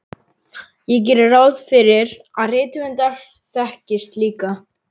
Ég geri ráð fyrir að rithöfundar þekkist líka.